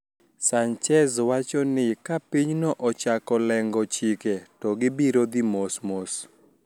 Sanchez wacho ni ka pinyno ochako leng`o chike to gibiro dhi mos mos